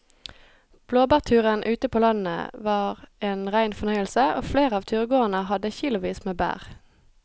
Blåbærturen ute på landet var en rein fornøyelse og flere av turgåerene hadde kilosvis med bær.